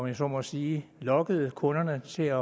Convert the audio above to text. jeg så må sige lokkede kunderne til